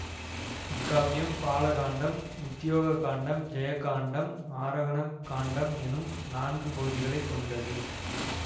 இக்காப்பியம் பாலகாண்டம் உத்தியோக காண்டம் ஜெயகாண்டம் ஆரோகண காண்டம் என்னும் நான்கு பகுதிகளை கொண்டது